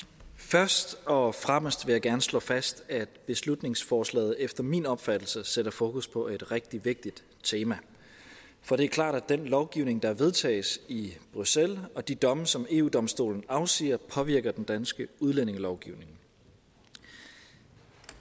først og fremmest vil jeg gerne slå fast at beslutningsforslaget efter min opfattelse sætter fokus på et rigtig vigtigt tema for det er klart at den lovgivning der vedtages i bruxelles og de domme som eu domstolen afsiger påvirker den danske udlændingelovgivning